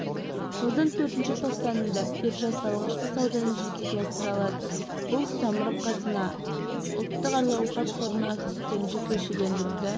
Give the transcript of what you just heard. жылдың төртінші тоқсанында биржасы алғашқы сауданы жүзеге асыра алады бұл самұрық-қазына ұлттық әл-ауқат қорының активтерін жекешелендіруді